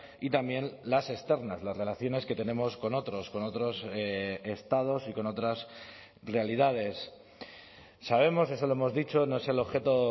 y también las externas las relaciones que tenemos con otros con otros estados y con otras realidades sabemos eso lo hemos dicho no es el objeto